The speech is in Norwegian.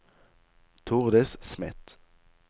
Tordis Smith